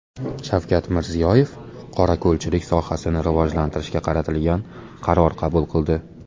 Shavkat Mirziyoyev qorako‘lchilik sohasini rivojlantirishga qaratilgan qaror qabul qildi.